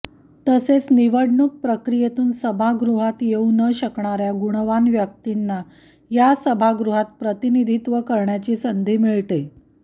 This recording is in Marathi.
तसेच निवडणूक प्रक्रियेतून सभागृहात येऊ न शकणाऱ्या गुणवान व्यक्तींना या सभागृहात प्रतिनिधित्व करण्याची संधी मिळते